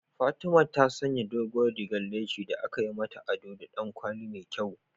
Fatima ta sanya doguwar rigar leshi da aka yi mata ado da ɗan kwali mai kyau.